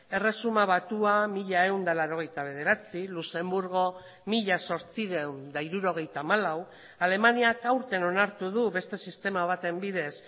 erresuma batua mila ehun eta laurogeita bederatzi luxemburgo mila zortziehun eta hirurogeita hamalau alemaniak aurten onartu du beste sistema baten bidez